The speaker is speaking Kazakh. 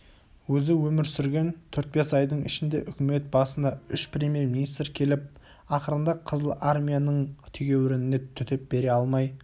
өзі өмір сүрген төрт-бес айдың ішінде үкімет басына үш премьер-министр келіп ақырында қызыл армияның тегеурініне төтеп бере алмай